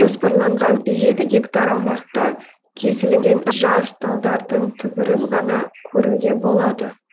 жоспарланған жеті гектар аумақта кесілген жас талдардың түбірін ғана көруге болады